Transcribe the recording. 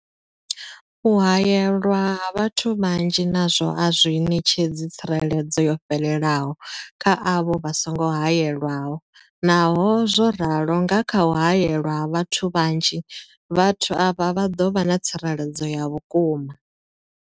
U haelwa ha vhathu vhanzhi nazwo a zwi ṋetshedzi tsireledzo yo fhelelaho kha avho vha songo haelwaho, naho zwo ralo, nga kha u haelwa ha vhathu vhanzhi, vhathu avha vha ḓo vha na tsireledzo ya vhukuma.